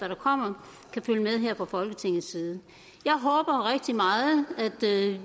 der kommer kan følge med her fra folketingets side jeg håber rigtig meget at